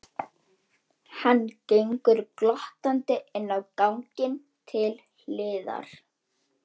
Hann gengur glottandi inn á ganginn til hliðar.